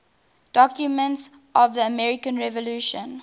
documents of the american revolution